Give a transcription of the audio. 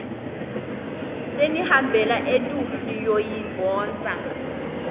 senihambela etulu niyoyidvonsa